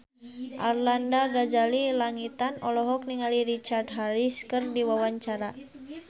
Arlanda Ghazali Langitan olohok ningali Richard Harris keur diwawancara